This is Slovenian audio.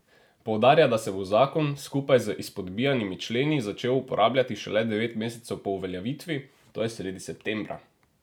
Poudarja, da se bo zakon, skupaj z izpodbijanimi členi, začel uporabljati šele devet mesecev po uveljavitvi, to je sredi septembra.